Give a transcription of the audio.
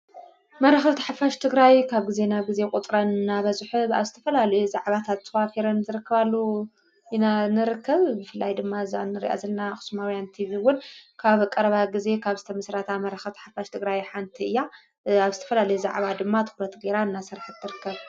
መራኸብቲ ሓፋሽ ትግራይ ካብ ጊዜ ናብ ጊዜ ቁፅረን እናበዝሐ ኣብ ዝተፈላለየ ዛዕባታት ተዋፊረን ዝርከባሉ ኢና ንርክብ። ብፍላይ ድማ እዛ እንሪኣ ዘለና ኣኽስማውያን ቲቪ ካብ ቐረባ ጊዜ ካብ ዝተመስረታ መራኸብቲ ሓፋሽ ትግራይ ሓንቲ እያ። ኣብ ዝተፈላለዩ ዛዕባ ድማ ትኹረት ገይራ እናሰርሐት ትርከብ።